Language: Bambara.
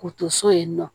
K'u to so in nɔ